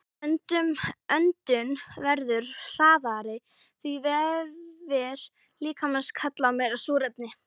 Öndun verður hraðari því vefir líkamans kalla á meira súrefni.